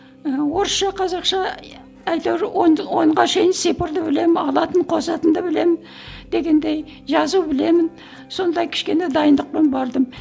ы орысша қазақша әйтеуір онды онға шейін цифрды білемін алатын қосатынды білемін дегендей жазу білемін сондай кішкене дайындықпен бардым